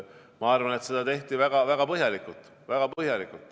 Ma arvan, et seda tehti väga põhjalikult.